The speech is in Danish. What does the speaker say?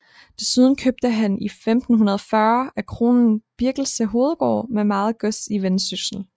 Desuden købte han 1540 af kronen Birkelse hovedgård med meget gods i Vendsyssel